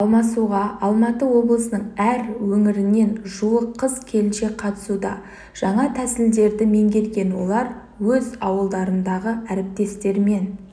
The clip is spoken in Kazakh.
алмасуға алматы облысының әр өңірінен жуық қыз-келіншек қатысуда жаңа тәсілдерді меңгерген олар өз ауылдарындағы әріптестерімен